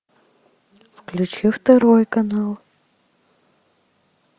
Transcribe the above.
включи второй канал